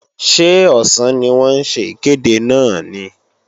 Ṣé ọ̀sán ni wọ́n ń ṣe ìkéde náà ni?